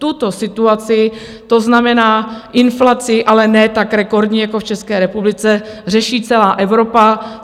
Tuto situaci, to znamená inflaci, ale ne tak rekordní jako v České republice, řeší celá Evropa.